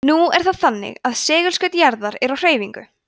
nú er það þannig að segulskaut jarðar er á hreyfingu